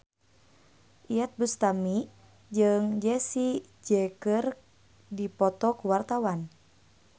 Iyeth Bustami jeung Jessie J keur dipoto ku wartawan